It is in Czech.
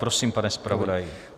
Prosím, pane zpravodaji.